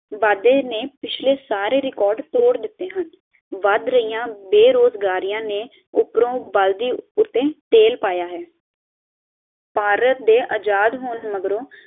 ਵਾਧੇ ਨੇ ਪਿੱਛਲੇ ਸਾਰੇ ਰੇਕੋਡ ਤੋੜ ਦਿੱਤੇ ਹਨ ਵੱਧ ਰਹੀਆਂ ਬੇਰੋਜਗਾਰੀਆਂ ਨੇ ਉਪਰੋਂ ਬਲਦੀ ਉਤੇ ਤੇਲ ਪਾਇਆ ਹੈ ਭਾਰਤ ਦੇ ਆਜ਼ਾਦ ਹੋਣ ਦੇ ਮਗਰੋਂ